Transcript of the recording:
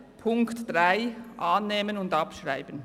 Die Ziffer 3 werden wir annehmen und abschreiben.